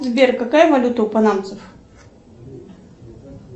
сбер какая валюта у панамцев